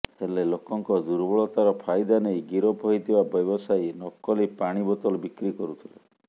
ହେଲେ ଲୋକଙ୍କ ଦୁର୍ବଳତାର ଫାଇଦା ନେଇ ଗିରଫ ହୋଇଥିବା ବ୍ୟବସାୟୀ ନକଲି ପାଣି ବୋତଲ ବିକ୍ରି କରୁଥିଲେ